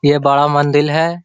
ये बड़ा मंदिल है|